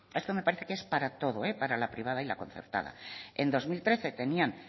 esto me parece que es para todo para la privada y la concertada en dos mil trece tenían